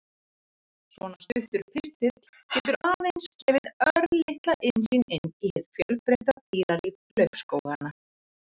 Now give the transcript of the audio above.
Svona stuttur pistill getur aðeins gefið örlitla innsýn inn í hið fjölbreytta dýralíf laufskóganna.